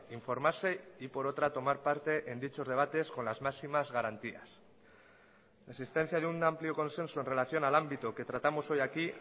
informarse y por otra tomar parte en dichos debates con las máximas garantías la existencia de un amplio consenso en relación al ámbito que tratamos hoy aquí